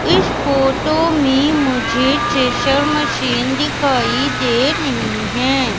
इस फोटो में मुझे स्टेशर मशीन दिखाई दे नहीं है।